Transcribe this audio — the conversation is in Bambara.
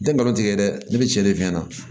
N tɛ nkalon tigɛ dɛ ne bɛ cɛnni f'i ɲɛna